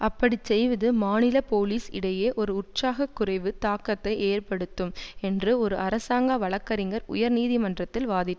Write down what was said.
அப்படி செய்வது மாநில போலீஸ் இடையே ஒரு உற்சாகக் குறைவு தாக்கத்தை ஏற்படுத்தும் என்று ஒரு அரசாங்க வழக்கறிஞர் உயர்நீதிமன்றத்தில் வாதிட்